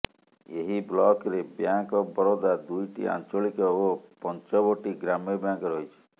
ଏହି ବ୍ଳକରେ bank of Baroda ଦୁଇଟି ଆଞ୍ଚଳିକ ଓ ପଞ୍ଚବଟୀ ଗ୍ରାମ୍ୟ ବ୍ୟାଙ୍କ ରହିଛି